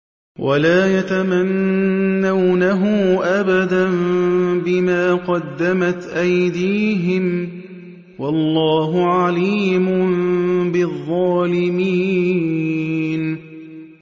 وَلَا يَتَمَنَّوْنَهُ أَبَدًا بِمَا قَدَّمَتْ أَيْدِيهِمْ ۚ وَاللَّهُ عَلِيمٌ بِالظَّالِمِينَ